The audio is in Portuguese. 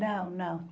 Não, não.